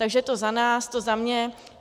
Takže to za nás, to za mě.